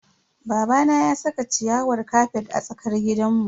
Babana ya saka ciyawar kafet a cikin tsakar gidanmu.